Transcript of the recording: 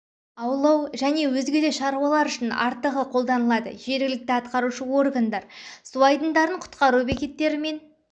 аулау және өзге де шаруалар үшін артығы қолданылады жергілікті атқарушы органдар су айдындарын құтқару бекеттерімен